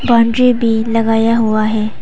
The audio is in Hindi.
बाउंड्री भी लगाया हुआ है।